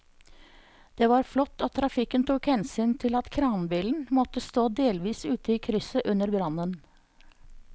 Det var flott at trafikken tok hensyn til at kranbilen måtte stå delvis ute i krysset under brannen.